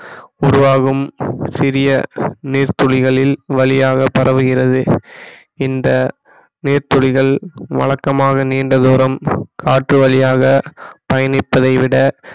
உருவாகும் சிறிய நீர்த்துளிகளில் வழியாக பரவுகிறது இந்த நீர்த்துளிகள் வழக்கமாக நீண்ட தூரம் காற்று வழியாக பயணிப்பதை விட